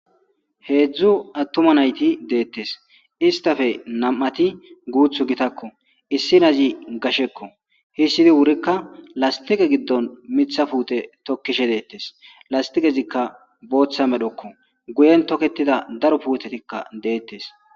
Hezhu attuma nayti deetes istappe nam'ati guuthu gitako issinazi gasheko histidi wurika lastiqe gidon Mitha puute tokishe deetes lastiqezoka bootha medhoko guyen toketida daro puutetika deetes.